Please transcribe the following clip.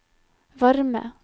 varme